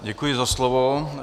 Děkuji za slovo.